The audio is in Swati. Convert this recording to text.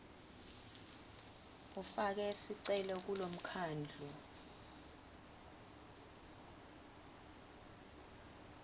ufake sicelo kulomkhandlu